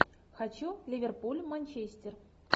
хочу ливерпуль манчестер